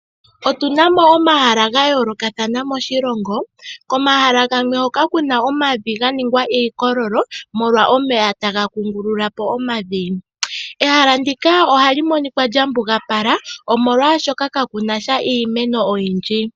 Otu na mo omahala ga yoolokathana moshilongo. Komahala gamwe hoka ku na omavi ga ninga iikololo molwa omeya taga kungulula po omavi. Ehala ndika ohali monika lya pugapala, molwashoka kaku na sha iimeno oyindji.